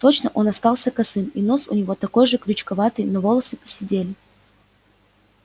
точно он остался косым и нос у него такой же крючковатый но волосы поседели